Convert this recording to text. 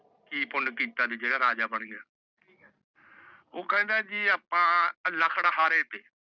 ਮੈ ਕਿ ਪੁਣ ਕਿੱਤਾ ਜਿਹੜਾ ਰਾਜਾ ਬਣ ਗਿਆ। ਉਹ ਕਹਿੰਦਾ ਜੀ ਆਪਾ ਲੱਕੜਹਾਰੇ